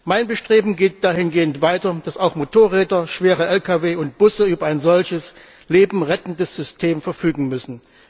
Mein Bestreben geht dahingehend weiter, dass auch Motorräder, schwere Lkw und Busse über ein solches Leben rettendes System verfügen müssen.